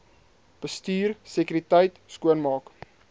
bestuur sekuriteit skoonmaak